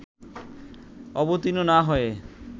অবতীর্ণ না হয়ে